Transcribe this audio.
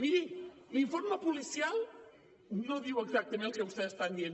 miri l’informe policial no diu exactament el que vostès estan dient